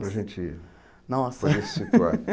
Para a gente nossa para a gente se situar.